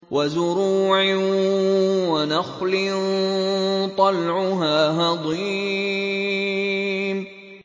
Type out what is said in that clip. وَزُرُوعٍ وَنَخْلٍ طَلْعُهَا هَضِيمٌ